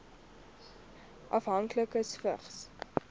afhanklikes vigs